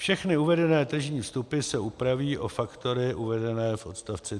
Všechny uvedené tržní vstupy se upraví o faktory uvedené v odst.